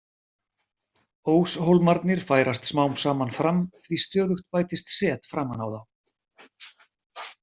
Óshólmarnir færast smám saman fram því stöðugt bætist set framan á þá.